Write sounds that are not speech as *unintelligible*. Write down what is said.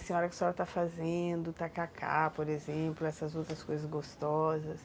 A senhora *unintelligible* que a senhora está fazendo o tacacá, por exemplo, essas outras coisas gostosas.